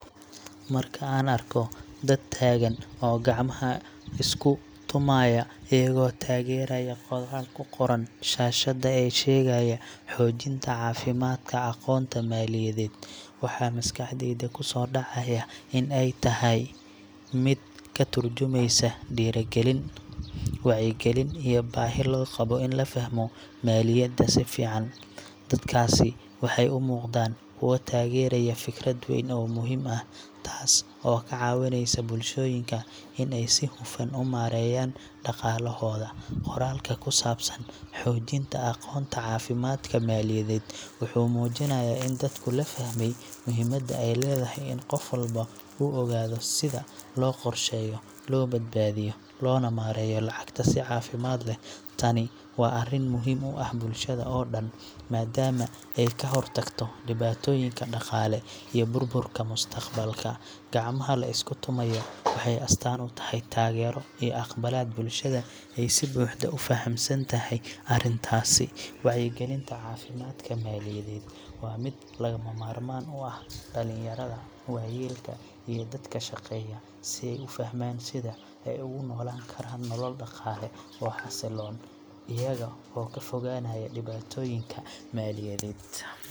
Marka aan arko dad taagan oo gacmaha isku tumaaya iyagoo taageeraya qoraal ku qoran shaashadda ee sheegaya ‘Xoojinta Aqoonta Caafimaadka Maaliyadeed’, waxa maskaxdayda ku soo dhacaya in ay tahay mid ka tarjumeysa dhiirrigelin, wacyigelin iyo baahi loo qabo in la fahmo maaliyadda si fiican. Dadkaasi waxay u muuqdaan kuwo taageeraya fikrad weyn oo muhiim ah, taas oo ka caawinaysa bulshooyinka in ay si hufan u maareeyaan dhaqaalahooda. Qoraalka ku saabsan Xoojinta Aqoonta Caafimaadka Maaliyadeed wuxuu muujinayaa in dadku la fahmay muhiimada ay leedahay in qof walba uu ogaado sida loo qorsheeyo, loo badbaadiyo, loona maareeyo lacagta si caafimaad leh. Tani waa arrin muhiim u ah bulshada oo dhan, maadaama ay ka hortagto dhibaatooyinka dhaqaale iyo burburka mustaqbalka. Gacmaha la isku tumaayo waxay astaan u tahay taageero iyo aqbalaad bulshada ay si buuxda u fahamsan tahay arrintaasi. Wacyigelinta caafimaadka maaliyadeed waa mid lagama maarmaan u ah dhallinyarada, waayeelka, iyo dadka shaqeeya, si ay u fahmaan sida ay ugu noolaan karaan nolol dhaqaale oo xasiloon, iyaga oo ka fogaanaya dhibaatooyinka maaliyadeed.